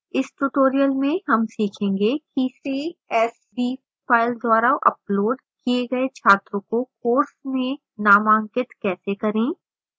इस tutorial में हम सीखेंगे कि: csv file द्वारा uploaded किए गए छात्रों को course में नामांकित कैसे करें